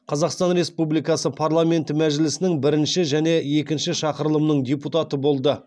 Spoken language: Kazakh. қазақстан республикасы парламенті мәжілісінің бірінші және екінші шақырылымының депутаты болды